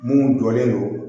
Mun jɔlen don